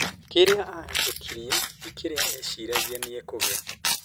Kĩrĩa ahĩtukiire tĩ kĩrĩa eciragia nĩ ekugĩa